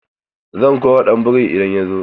Zan kora ɗan borin idan ya zo.